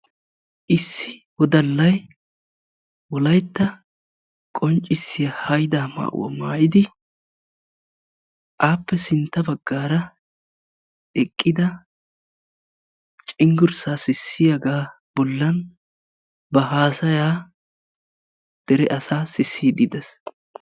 issi wodallay wolaytta qonccisiya haydaa maayuwa maayidi appe sintta bagaara eqqida cengursaa sissiyagaa bolan ba haasaya dere asaa sisiidi de'ees.